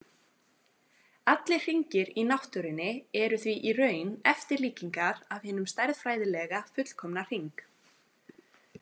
Allir hringir í náttúrunni eru því í raun eftirlíkingar af hinum stærðfræðilega fullkomna hring.